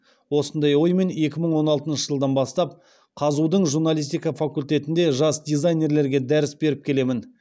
осындай оймен екі мың он алтыншы жылдан бастап қазұу дың журналистика факультетінде жас дизайнерлерге дәріс беріп келемін